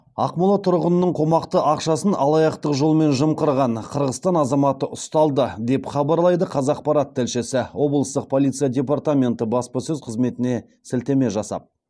ақмола тұрғынының қомақты ақшасын алаяқтық жолмен жымқырған қырғызстан азаматы ұсталды деп хабарлайды қазақпарат тілшісі облыстық полиция департаменті баспасөз қызметіне сілтеме жасап